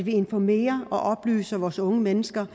informere vores unge mennesker